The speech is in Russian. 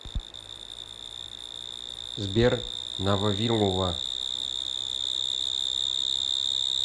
сбер на вавилова